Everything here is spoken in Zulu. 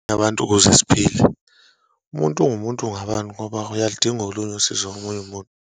Abantu ukuze siphile, umuntu ungumuntu ngabantu ngoba uyaludinga olunye usizo komunye umuntu.